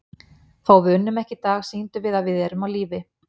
Þó við unnum ekki í dag, sýndum við að við erum á lífi.